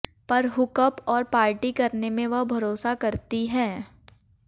पर hook up और party करने में वह भरोसा करती है